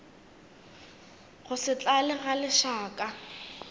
go se tlale ga lešaka